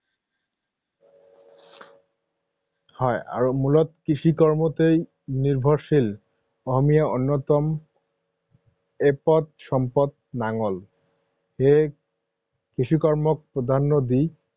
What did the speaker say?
হয়, আৰু মূলতঃ কৃষি কৰ্মতেই নিৰ্ভৰশীল, অসমীয়াৰ অন্যতম এপদ সম্পদ নাঙল। সেয়ে কৃষি কৰ্মক প্ৰাধান্য দি